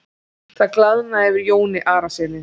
Það glaðnaði yfir Jóni Arasyni.